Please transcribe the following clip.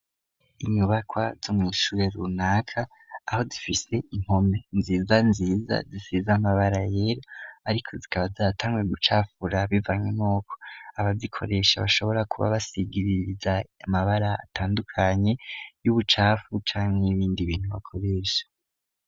Inyubakwa zo mw' ishure runaka aho zifise impome nziza nziza zisize amabara yera, ariko zikaba zatanguye gucafura bivanye nuko abazikoresha bashobora kuba basigiririza amabara atandukanye y'ubucafu cangwa ibindi bintu bakoresha.